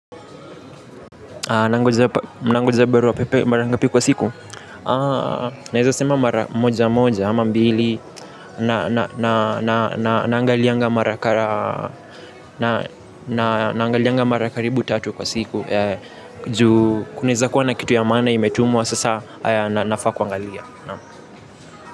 Nangoja barua pepe mara ngapi kwa siku. Naeza sema mara moja moja ama mbili. Na angalianga mara karibu tatu kwa siku juu kunaweza kuwa na kitu ya maana imetumwa sasa nafaa kuangalia.